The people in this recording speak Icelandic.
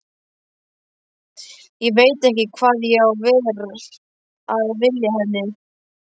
Ég veit ekki hvað ég var að vilja henni.